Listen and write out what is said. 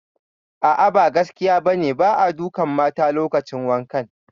A'a, ba gaskiya ba ne, ba a dukan mata lokacin wankan